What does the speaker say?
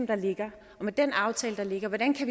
der ligger og med den aftale der ligger